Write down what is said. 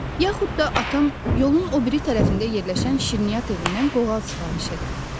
Yaxud da atam yolun o biri tərəfində yerləşən şirniyyat evindən qoğal sifariş edər.